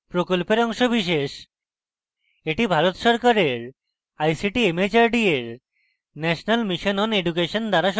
এটি ভারত সরকারের ict mhrd এর national mission on education দ্বারা সমর্থিত